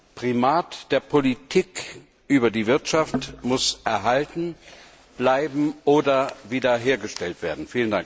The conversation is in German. Das Primat der Politik über die Wirtschaft muss erhalten bleiben oder wiederhergestellt werden.